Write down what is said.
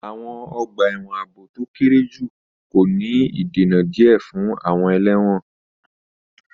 Àwọn ọgbà ẹ̀wọ̀n ààbò tó kéré jù kò ní ìdènà díẹ̀ fún àwọn ẹlẹ́wọ̀n.